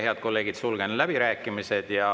Head kolleegid, sulgen läbirääkimised.